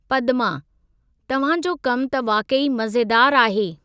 पदमा: तव्हां जो कमु त वाक़ई मज़ेदारु आहे।